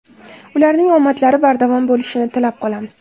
Ularning omadlari bardavom bo‘lishini tilab qolamiz.